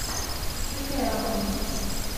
включай романтику